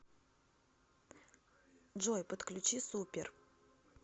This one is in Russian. джой подключи супер